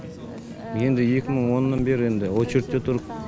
енді екі мың оннан бері енді очередьте тұрып